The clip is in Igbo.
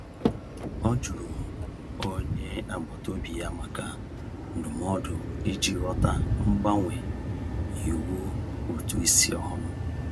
Ọ jụrụ onye agbataobi ya maka ndụmọdụ iji ghọta mgbanwe iwu ụtụisi ọhụrụ.